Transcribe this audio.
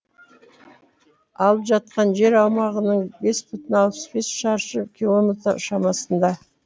алып жатқан жер аумағының бес бүтін алпыс бес шаршы километр шамасында